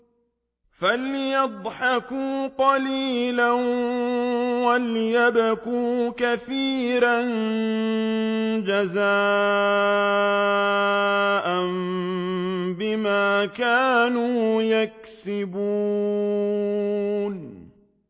فَلْيَضْحَكُوا قَلِيلًا وَلْيَبْكُوا كَثِيرًا جَزَاءً بِمَا كَانُوا يَكْسِبُونَ